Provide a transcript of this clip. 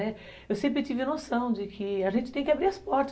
Eu sempre tive noção de que a gente tem que abrir as portas.